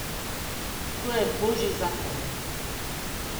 To je božji zakon.